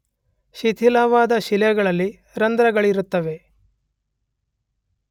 ಶಿಥಿಲವಾದ ಶಿಲೆಗಳಲ್ಲಿ ರಂಧ್ರಗಳಿರುತ್ತವೆ.